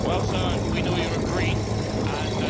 Well sir, we know you are a Green and